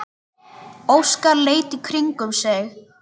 Óskar leit í kringum sig.